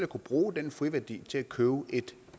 kunne bruge den friværdi til at købe et